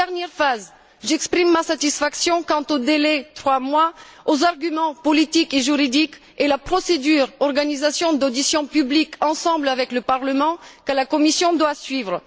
Troisièmement, j'exprime ma satisfaction quant au délai de trois mois, aux arguments politiques et juridiques et à la procédure d'organisation d'auditions publiques communes avec le Parlement que la Commission doit suivre.